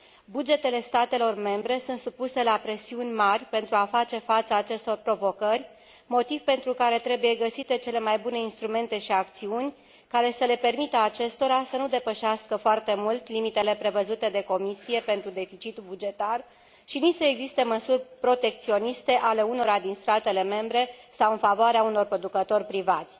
Bugetele statelor membre sunt supuse la presiuni mari pentru a face față acestor provocări, motiv pentru care trebuie găsite cele mai bune instrumente și acțiuni care să le permită acestora să nu depășească foarte mult limitele prevăzute de Comisie pentru deficitul bugetar și să nu existe măsuri protecționiste ale unora din statele membre sau în favoarea unor producători privați.